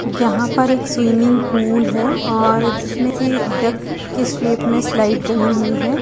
यहाँ पर एक स्विमिंग पूल है और जिसमे से डक के शेप स्लाइड बनी हुई है।